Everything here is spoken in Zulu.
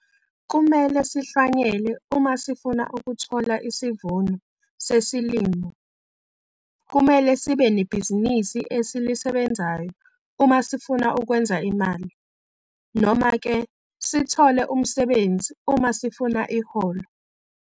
Kumele sihlwanyele uma sifuna ukuthola isivuno sesilimo, kumele sibe nebhizinisi esilisebenzayo uma sifuna ukwenza imali, noma-ke sithole umsebenzi uma sifuna iholo.